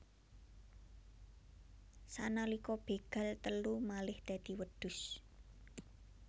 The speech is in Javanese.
Sanalika begal telu malih dadi wedhus